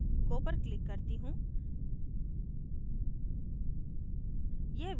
अब go पर click करती हूँ